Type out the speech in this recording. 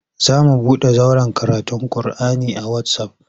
Za mu buɗe zauren karatun kur'ani a wasaf.